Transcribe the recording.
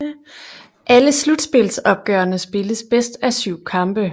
Alle slutspilsopgørene spilles bedst af syv kampe